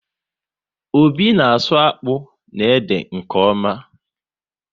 Obi na asụ akpụ na ede nke ọma